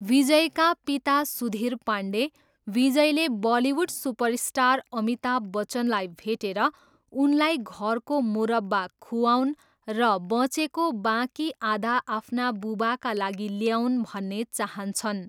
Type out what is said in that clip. विजयका पिता सुधीर पाण्डे, विजयले Bollywood superstar Amitabh बच्चनलाई भेटेर उनलाई घरको मुरब्बा खुवाऊन् र बँचेको बाँकी आधा आफ्ना बुबाका लागि ल्याऊन् भन्ने चाहन्छन्।